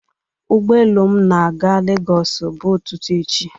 Ụgbọ elu m na-aga Lagos bụ ụtụtụ echi.